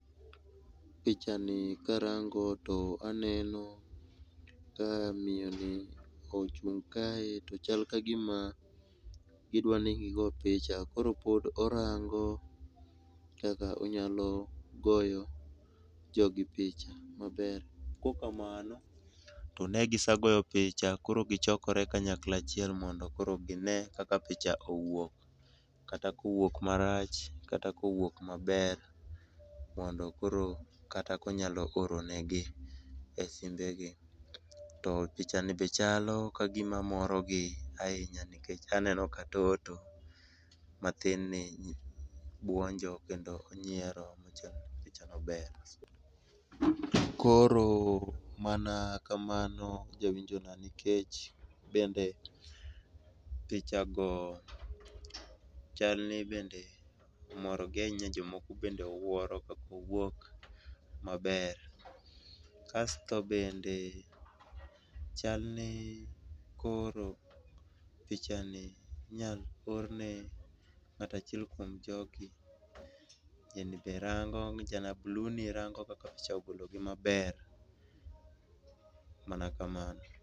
Picha ni karango to aneno ka miyoni ochung' kae to chal kagima gidwa ni gigo picha koro pod orango kaka onyalo goyo jogi picha maber, kaok kamano to ne gisegoyo picha koro gichokore kanyakla achiel mondo koro gine kaka owuok. Kata ka owuok marach, kata kowuok maber mondo koro kata ka onyalo oro negi e simbegi. To picha ni be chalo kagima morogi ahinya nikech aneno ka toto mathin ni buonjo kendo nyiero pichano ber. Koro mana kamano jawinjona nikech bende picha go chalni bende moro gi ahinya jomoko bende wuoro kaka owuok maber. Kasto bende chalni koro pichani inyalo or ne ng'ato achiel kuom jogi ng'ani be rango ja blu ni rango kaka picha ni ogologi maber, mana kamano.